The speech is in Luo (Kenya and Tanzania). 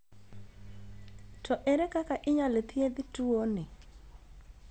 To ere kaka inyal thieth tuo ni?